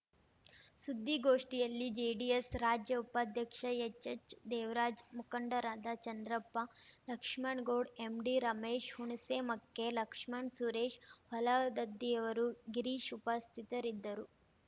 ಸುದ್ದಿಗೋಷ್ಠಿಯಲ್ಲಿ ಜೆಡಿಎಸ್‌ ರಾಜ್ಯ ಉಪಾಧ್ಯಕ್ಷ ಎಚ್‌ಎಚ್‌ ದೇವರಾಜ್‌ ಮುಖಂಡರಾದ ಚಂದ್ರಪ್ಪ ಲಕ್ಷ್ಮಣ್ ಗೌಡ್ ಎಂಡಿ ರಮೇಶ್‌ ಹುಣಸೆಮಕ್ಕೆ ಲಕ್ಷ್ಮಣ್ ಸುರೇಶ್‌ ಹೊಲಗದ್ದಿಅವರು ಗಿರೀಶ್‌ ಉಪಸ್ಥಿತರಿದ್ದರು